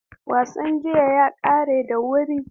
Wasan jiya ya ƙare da wuri.